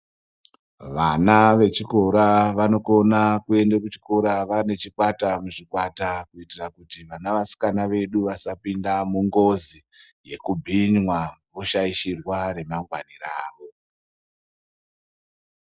Vana vechikora vanokona kuende kuchikora vane chikwata muzvikwata kuitira kuti vana vasikana vedu vasapinda mungozi yekubhinywa voshaishirwa remangwani ravo.